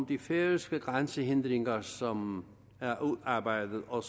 de færøske grænsehindringer som er udarbejdet og